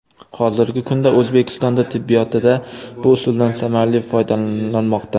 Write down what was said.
Hozirgi kunda O‘zbekistonda tibbiyotida bu usuldan samarali foydalanilmoqda.